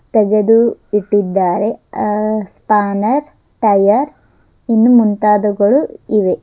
ತೆಗೆದು ಇಟ್ಟಿದ್ದಾರೆ ಹಾ ಸ್ಪಂರ್ ಟಯರ್ ಇನ್ನೂ ಮುಂತಾದವುಗಳು ಇವೆ.